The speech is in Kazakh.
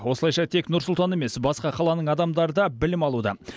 осылайша тек нұр сұлтан емес басқа қаланың адамдары да білім алуда